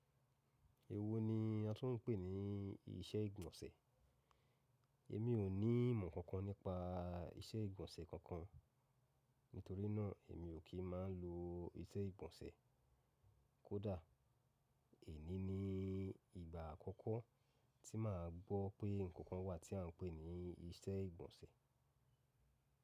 Èwo ni a tún n pè ní iṣẹ́ ìgbọ̀nsẹ̀? Èmi ò ní ìmọ̀ kankan nípa iṣẹ́ ìgbọ̀nsẹ̀ kankan. Nítorínà èmi ò kí máa ń lo iṣẹ́ ìgbọ̀nsẹ̀. Kódà, èní ni ìgbà àkọ́kọ́ tí màá gbọ́ pé nkankan wà tí à ń pè ní iṣẹ́ ìgbọ̀nsẹ̀.